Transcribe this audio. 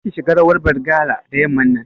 Kar ki shiga rawar Bargalar da yamman nan